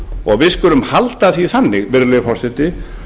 og við skulum halda því þannig virðulegi forseti